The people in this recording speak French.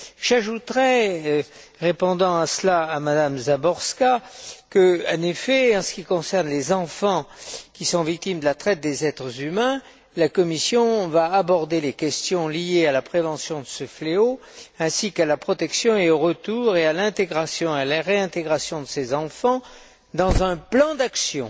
J'ajouterai, répondant en cela à M me Záborská, qu'en effet, en ce qui concerne les enfants qui sont victimes de la traite des êtres humains, la Commission va aborder les questions liées à la prévention de ce fléau ainsi qu'à la protection, au retour et à la réintégration de ces enfants dans un plan d'action